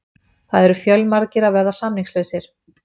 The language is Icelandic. Það eru fjölmargir að verða samningslausir.